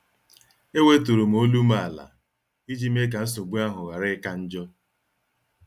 E weturum olum ala iji mee ka nsogbu ahụ ghara ika njọ.